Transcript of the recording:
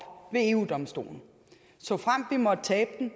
ved eu domstolen såfremt vi måtte tabe den